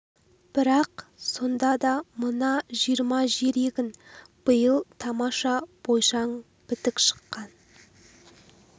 бірақ сонда да мына жиырма жер егін биыл тамаша бойшаң бітік шыққан